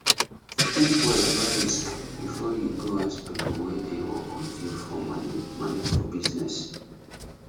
think well about risk before you go ask people wey dey work with you for money money for business